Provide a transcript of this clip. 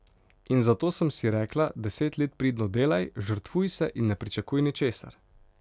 In zato sem si rekla, deset let pridno delaj, žrtvuj se in ne pričakuj ničesar.